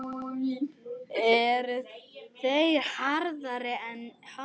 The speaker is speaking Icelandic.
Eru þeir harðari en hann?